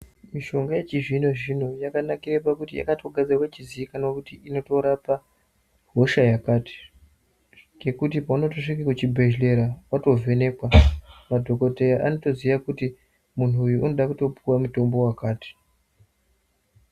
Mishonga yechizvino zvino yakanakire pakuti yakatogadzirwa ichizikanwa kuti inotorapa hosha yakati ngekuti paunotosvike kuchibhedhlera, watovhenekwa madhokoteya anotoziya kuti muntu uyu unoda kutopuwa mutombo wakati.